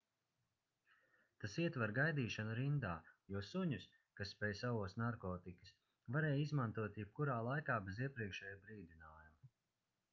tas ietver gaidīšanu rindā jo suņus kas spēj saost narkotikas varēja izmantot jebkurā laikā bez iepriekšēja brīdinājuma